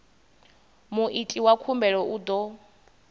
muiti wa khumbelo u ḓo